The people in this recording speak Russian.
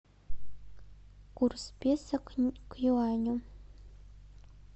курс песо к юаню